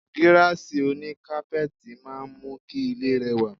Gíráàsì oní kápẹ́ẹ̀tì máa ń mú kí ilé rẹwà.